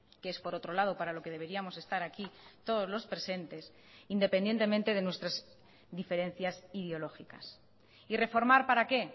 que es por otro lado para lo que deberíamos estar aquí todos los presentes independientemente de nuestras diferencias ideológicas y reformar para qué